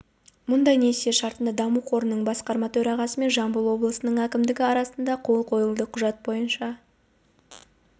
мұндай несие шартына даму қорының басқарма төрағасы мен жамбыл облысы әкімшілігінің арасында қол қойылды құжат бойынша